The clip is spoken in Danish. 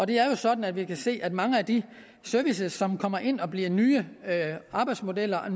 det er sådan at vi kan se at mange af de services som kommer ind og bliver nye arbejdsmodeller og